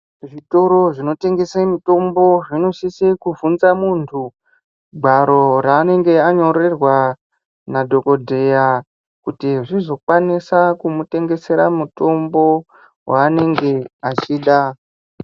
Zvitoro zvinotengese mitombo zvinosise kuvhunza muntu gwaro raanenge anyorerwa nadhokodheya kuti zvizokwanisa kumutengesera mutombo waanenge achida.